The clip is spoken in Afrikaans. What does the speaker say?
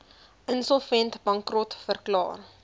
insolvent bankrot verklaar